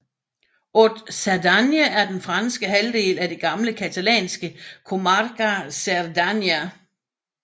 Haute Cerdagne er den franske halvdel af det gamle catalanske comarca Cerdanya